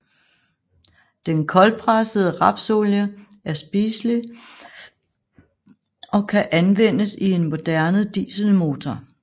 Den koldpressede rapsolie er spiselig og kan anvendes i en moderne dieselmotor